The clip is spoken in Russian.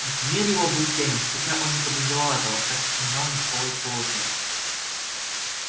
мир его был тёмен хотя он не подозревал этого так как не знал никакого другого мира